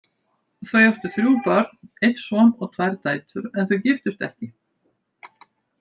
Þau áttu þrjú börn, einn son og tvær dætur, en þau giftust ekki.